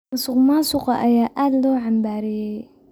Musuqmaasuqa ayaa aad loo cambaareeyay.